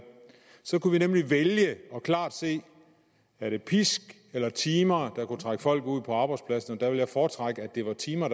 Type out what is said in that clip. så kunne vi nemlig vælge og klart se er det pisk eller timer der kunne trække folk ud på arbejdspladserne der ville jeg foretrække at det var timer